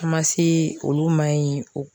Ma se olu ma ye o